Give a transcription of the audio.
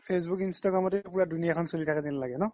facebook instagram তে গুতেই দুনিয়া খন চ্লি থকা জেন লাগে ন ?